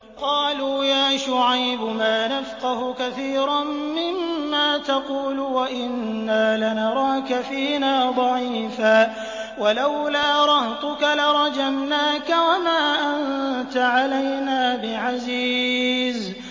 قَالُوا يَا شُعَيْبُ مَا نَفْقَهُ كَثِيرًا مِّمَّا تَقُولُ وَإِنَّا لَنَرَاكَ فِينَا ضَعِيفًا ۖ وَلَوْلَا رَهْطُكَ لَرَجَمْنَاكَ ۖ وَمَا أَنتَ عَلَيْنَا بِعَزِيزٍ